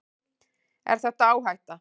Er þetta áhætta?